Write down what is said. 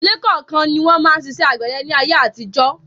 Ìdíle kọ̀ọ̀kan ni wọn máa ń ṣiṣẹ́ àgbẹ̀dẹ ni ayé àtijọ́